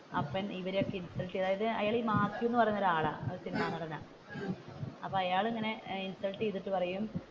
അപ്പൻ ഇവരെ അയാൾ ഇങ്ങനെഇൻസൽട്ട് ചെയ്‍തിട്ട് പറയും.